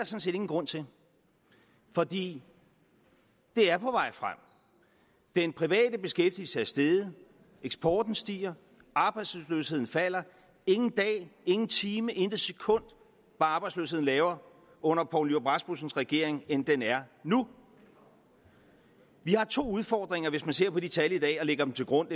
set ingen grund til fordi det er på vej frem den private beskæftigelse er steget eksporten stiger arbejdsløsheden falder ingen dag ingen time intet sekund var arbejdsløsheden lavere under poul nyrup rasmussens regering end den er nu vi har to udfordringer hvis man ser på de tal i dag og lægger dem til grund